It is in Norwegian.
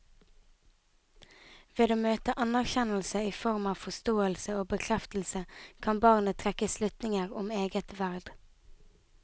Ved å møte anerkjennelse i form av forståelse og bekreftelse kan barnet trekke slutninger om eget verd.